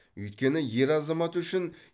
өйткені ер азамат үшін